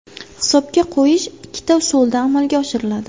Hisobga qo‘yish ikkita usulda amalga oshiriladi.